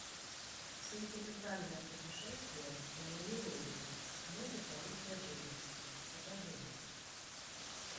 сентиментальное путешествие на мою родину музыка русской живописи покажи мне